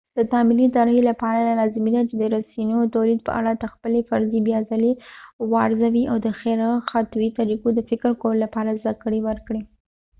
د تعاملي طرحې لپاره لازمي ده چې د رسنیو د تولید په اړه ته خپلې فرضیې بیاځلې وارزوې او د غیر خطي طریقو د فکر کولو لپاره زده کړه وکړې